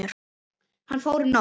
Hann fór um nótt.